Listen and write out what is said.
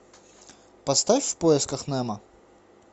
поставь в поисках немо